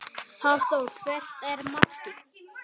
Hafþór: Hvert er markið?